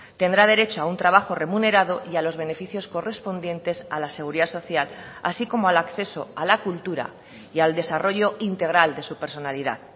tendrá derecho a un trabajo remunerado y a los beneficios correspondientes a la seguridad social así como al acceso a la cultura y al desarrollo integral de su personalidad